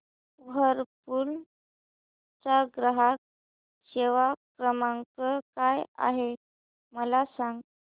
Whirlpool चा ग्राहक सेवा क्रमांक काय आहे मला सांग